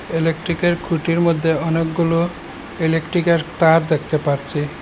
ইলেকট্রিকের খুঁটির মধ্যে অনেকগুলো ইলেকট্রিকের তার দেখতে পারছি।